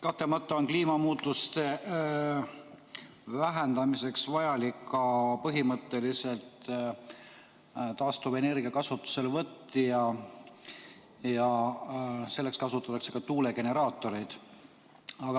Kahtlemata on kliimamuutuste vähendamiseks põhimõtteliselt vajalik ka taastuvenergia kasutuselevõtt ja selleks kasutatakse ka tuulegeneraatoreid.